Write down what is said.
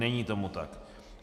Není tomu tak.